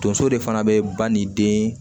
Tonso de fana be ba ni den